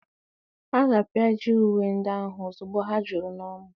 A ga-apịaji uwe ndị ahụ ozugbo ha juru n'ọnụ.